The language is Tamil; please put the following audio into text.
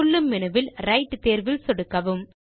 துள்ளும் மெனுவில் ரைட் தேர்வில் சொடுக்கவும்